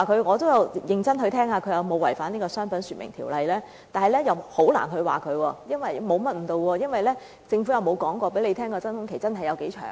"我也有認真地聽，看那人有否違反《商品說明條例》，但很難指他違反該條例，因為政府從未公布真空期有多長。